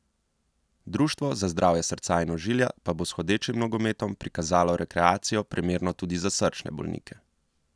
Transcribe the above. Društvo za zdravje srca in ožilja pa bo s hodečim nogometom prikazalo rekreacijo, primerno tudi za srčne bolnike.